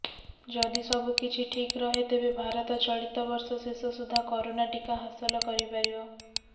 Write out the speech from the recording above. ଯଦି ସବୁକିଛି ଠିକ ରହେ ତେବେ ଭାରତ ଚଳିତ ବର୍ଷ ଶେଷ ସୁଦ୍ଧା କରୋନା ଟିକା ହାସଲ କରିପାରିବ